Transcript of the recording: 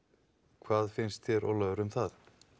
hvað finnst þér Ólafur um það